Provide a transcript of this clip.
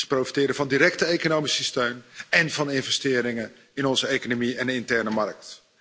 Ze profiteren van directe economische steun én van investeringen in onze economie en de interne markt.